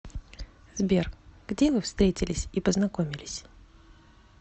сбер где вы встретились и познакомились